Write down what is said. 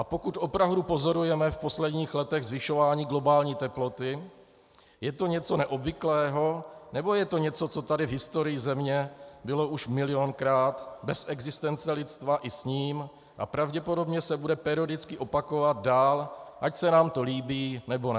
A pokud opravdu pozorujeme v posledních letech zvyšování globální teploty, je to něco neobvyklého, nebo je to něco, co tady v historii Země bylo už milionkrát, bez existence lidstva i s ním, a pravděpodobně se bude periodicky opakovat dál, ať se nám to líbí, nebo ne?